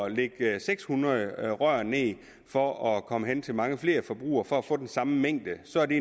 at lægge seks hundrede rør ned for at komme hen til mange flere forbrugere og for at få den samme mængde så er det